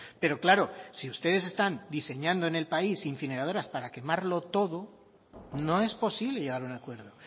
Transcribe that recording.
pero claro si ustedes están diseñando en el país incineradoras para quemarlo todo no es posible llegar a un acuerdo